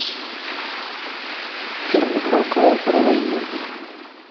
фильм михалкова про войну